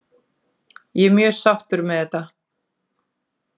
Ég er mjög sáttur með þetta.